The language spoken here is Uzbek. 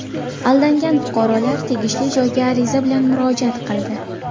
Aldangan fuqarolar tegishli joyga ariza bilan murojaat qildi.